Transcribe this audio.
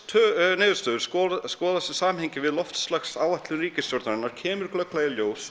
niðurstöður skoðast í samhengi við loftslagsáætlun ríkisstjórnarinnar kemur glögglega í ljós